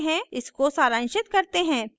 इसको सरांशित करते हैं